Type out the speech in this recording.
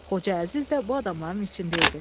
Xoca Əziz də bu adamların içində idi.